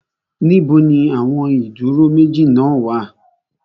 Níbo ni àwọn ó ìdúró méjì náà wà?